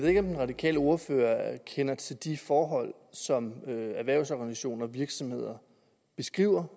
ikke om den radikale ordfører kender til de forhold som erhvervsorganisationer og virksomheder beskriver